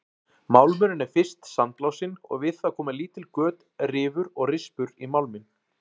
Málmurinn er fyrst sandblásinn og við það koma lítil göt, rifur og rispur í málminn.